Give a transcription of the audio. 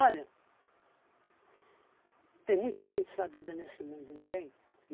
tem muita gente sabida nesse mundo, não tem?